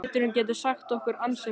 Liturinn getur sagt okkur ansi margt.